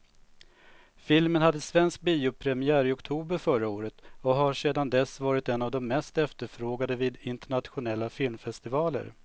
Filmen hade svensk biopremiär i oktober förra året och har sedan dess varit en av de mest efterfrågade vid internationella filmfestivaler.